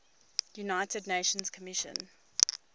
united nations commission